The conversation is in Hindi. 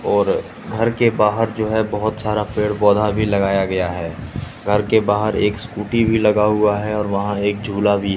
और घर के बाहर जो है बहोत सारा पेड़ पौधा भी लगाया गया है घर के बाहर एक स्कूटी भी लगा हुआ है और वहां एक झूला भी--